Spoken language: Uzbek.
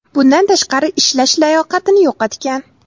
Bundan tashqari, ishlash layoqatini yo‘qotgan.